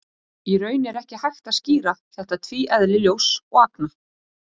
Í raun er ekki hægt að skýra þetta tvíeðli ljóss og agna.